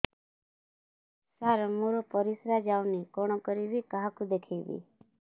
ସାର ମୋର ପରିସ୍ରା ଯାଉନି କଣ କରିବି କାହାକୁ ଦେଖେଇବି